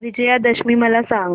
विजयादशमी मला सांग